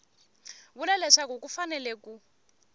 vula leswaku ku fanele ku